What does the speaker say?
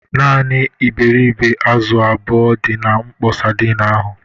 Naanị iberịbe azụ abụọ dị na mkpọ sadin ahụ.